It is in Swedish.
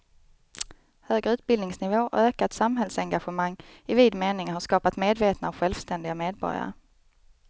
Högre utbildningsnivå och ökat samhällsengagemang i vid mening har skapat medvetna och självständiga medborgare.